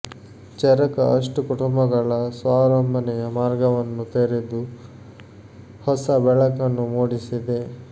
ಚರಕ ಅಷ್ಟು ಕುಟುಂಬಗಳ ಸ್ವಾವಲಂಬನೆಯ ಮಾರ್ಗವನ್ನು ತೆರೆದು ಹೊಸ ಬೆಳಕನ್ನು ಮೂಡಿಸಿದೆ